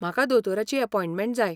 म्हाका दोतोराची अपॉयंटमँट जाय.